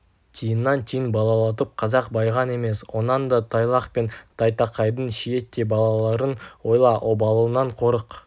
тиыннан тиын балалатып қазақ байыған емес онан да тайлақ пен тайтақайдың шиеттей балаларын ойла обалынан қорық